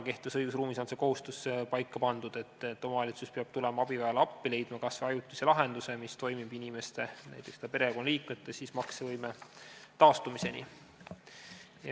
Kehtivas õigusruumis on see kohustus paika pandud, et omavalitsus peab tulema abivajajale appi ja leidma kas või ajutise lahenduse, mis toimib näiteks inimese perekonnaliikmete maksevõime taastumiseni.